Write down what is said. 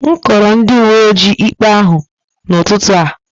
M kọọrọ ndị uwe ojii ikpe ahụ n'ụtụtụ a